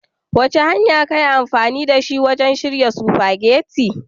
Wace hanya ka yi amfani da ita wajen shirya spaghetti?